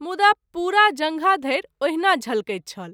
मुदा पुरा जँघा धरि ओहिना झलकैत छल।